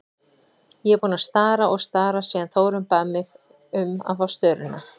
Ég er búin að stara og stara síðan Þórunn bað mig um að fá störuna.